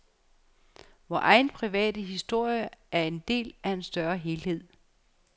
Vor egen private historie er en del af en større helhed.